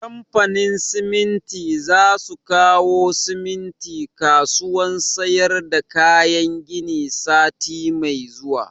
Kamfanin siminti za su kawo siminti kasuwan sayar da kayan gini sati mai zuwa